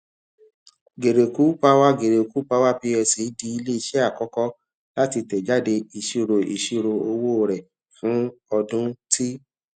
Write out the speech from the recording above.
geregu power geregu power plc di ileiṣẹ akọkọ lati tẹjade iṣiro iṣiro owo rẹ fun ọdun ti